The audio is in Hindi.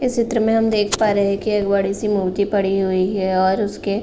इस चित्र में हम देख पा रहे हैं की एक बड़ी सी मूर्ति पडी हुई है और उसके --